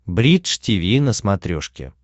бридж тиви на смотрешке